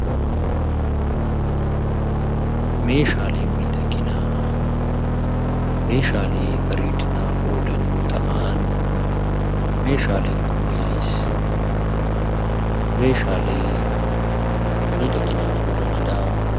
Meeshaaleen miidhaginaa meeshaalee bareedinaaf oolan yoo ta'an, meeshaaleen kunneenis meeshaalee miidhaginaaf oolani dhaa.